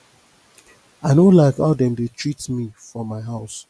i no like how dem dey treat me for my house